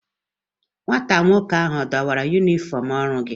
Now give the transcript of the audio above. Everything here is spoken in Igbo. Nwata nwoke ahu a dọwara yumifọm ọrụ gị?